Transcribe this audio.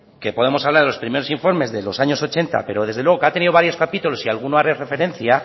que podemos hablar de los primeros informes de los años ochenta pero desde luego que ha tenido varios capítulos y a alguno haré referencia